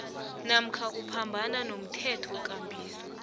namkha uphambana nomthethokambiso